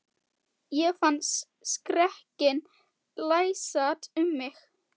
Ég fann skrekkinn læsast um mig.